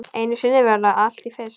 Einu sinni verður allt fyrst.